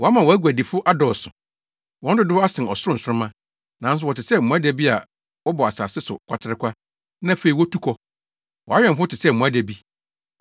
Woama wʼaguadifo adɔɔso, wɔn dodow asen ɔsoro nsoromma, nanso wɔte sɛ mmoadabi a wɔbɔ asase no kwaterekwa na afei wotu kɔ.